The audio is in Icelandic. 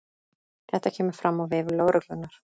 Þetta kemur fram á vef lögreglunnar